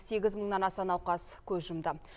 сегіз мыңнан аса науқас көз жұмды